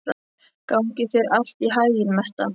Gangi þér allt í haginn, Metta.